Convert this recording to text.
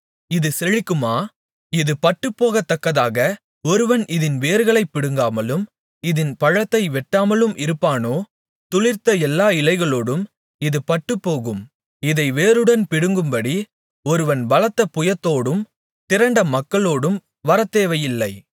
இது செழிக்குமா இது பட்டுப்போகத்தக்கதாக ஒருவன் இதின் வேர்களைப் பிடுங்காமலும் இதின் பழத்தை வெட்டாமலும் இருப்பானோ துளிர்த்த எல்லா இலைகளோடும் இது பட்டுப்போகும் இதை வேருடன் பிடுங்கும்படி ஒருவன் பலத்த புயத்தோடும் திரண்ட மக்களோடும் வரத்தேவையில்லை